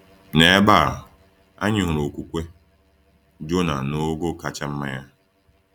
N’ebe a, anyị hụrụ okwukwe Jona n’ogo kacha mma ya.